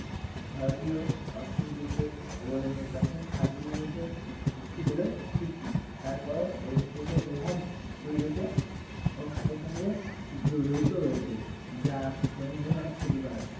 ভারতীয় অর্থনীতিতে অবদানের প্রাথমিক খাদগুলির মধ্যে একটি হলো কৃষি তারপরেও এর নিকৃষ্ট প্রভাব পরিবেশে ও খাতের সঙ্গে জড়িত রয়েছে যা জনজীবনে অনেক ক্ষতিকর